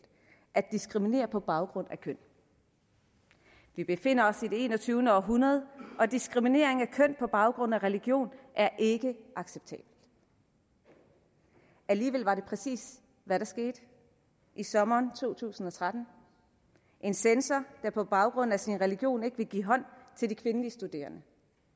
at diskriminere på baggrund af køn vi befinder os i det enogtyvende århundrede og diskriminering af køn på baggrund af religion er ikke acceptabelt alligevel var det præcis hvad der skete i sommeren to tusind og tretten da en censor på baggrund af sin religion ikke ville give hånd til de kvindelige studerende